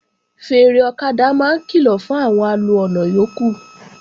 Fèèrè ọ̀kadà máa ń kìlọ̀ fún àwọn alo ọ̀nà yókù